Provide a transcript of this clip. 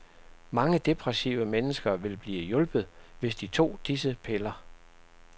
Mange depressive mennesker ville blive hjulpet, hvis de tog disse piller.